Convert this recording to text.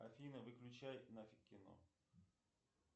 афина выключай нафиг кино